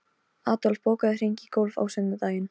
Adolf, bókaðu hring í golf á sunnudaginn.